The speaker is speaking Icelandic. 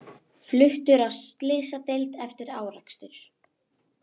Fluttur á slysadeild eftir árekstur